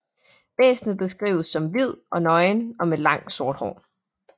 Væsnet beskrives som hvid og nøgen og med langt sort hår